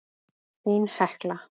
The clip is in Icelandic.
Þín Hekla.